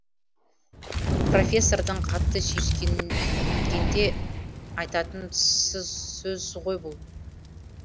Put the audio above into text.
профессордың қатты сүйіскенгенде айтатын сөзі ғой бұл